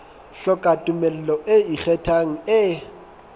hloka tumello e ikgethang e